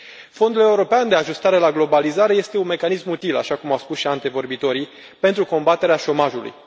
Fondul european de ajustare la globalizare este un mecanism util, așa cum au spus și antevorbitorii, pentru combaterea șomajului.